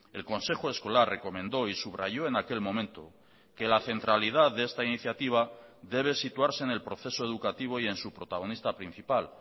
el consejo escolar recomendó y subrayó en aquel momento que la centralidad de esta iniciativa debe situarse en el proceso educativo y en su protagonista principal